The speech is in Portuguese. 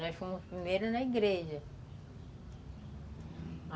Nós fomos primeiro na igreja.